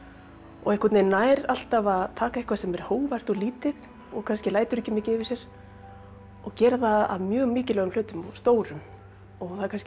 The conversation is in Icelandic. og nær alltaf að taka eitthvað sem er hógvært og lítið og kannski lætur ekki mikið yfir sér og gera það að mjög mikilvægum hlutum og stórum og það er kannski